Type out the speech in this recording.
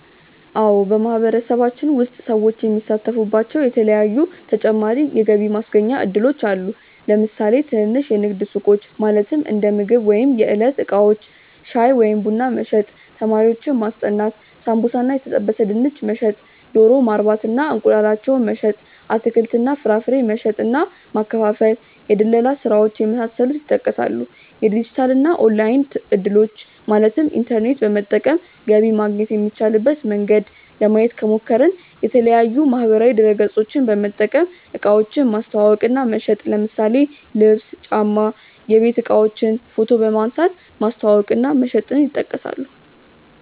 አዎ በማህበረሰባችን ውስጥ ሰዎች የሚሳተፉባቸዉ የተለያዪ ተጨማሪ የገቢ ማስገኛ እድሎች አሉ። ለምሳሌ ትንንሽ የንግድ ሱቆች(እንደምግብ ወይም የዕለት እቃዎች) ፣ ሻይ ወይም ቡና መሸጥ፣ ተማሪዎችን ማስጠናት፣ ሳምቡሳ እና የተጠበሰ ድንች መሸጥ፣ ዶሮ ማርባት እና እንቁላላቸውን መሸጥ፣ አትክልት እና ፍራፍሬ መሸጥ እና ማከፋፈል፣ የድለላ ስራዎች የመሳሰሉት ይጠቀሳሉ። የዲጂታል እና ኦንላይን እድሎችን( ኢንተርኔት በመጠቀም ገቢ ማግኘት የሚቻልበት መንገድ) ለማየት ከሞከርን፦ የተለያዪ ማህበራዊ ድረገፆችን በመጠቀም እቃዎችን ማስተዋወቅ እና መሸጥ ለምሳሌ ልብስ፣ ጫማ፣ የቤት እቃዎችን ፎቶ በመንሳት ማስተዋወቅ እና መሸጥ ይጠቀሳሉ።